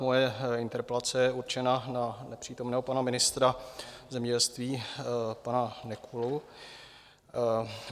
Moje interpelace je určena na nepřítomného pana ministra zemědělství pana Nekulu.